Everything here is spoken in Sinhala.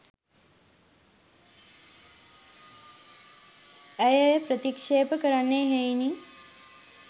ඇය එය ප්‍රතික්ෂේප කරන්නේ එහෙයිනි.